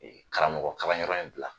Karamɔgɔkalanyɔrɔ in bila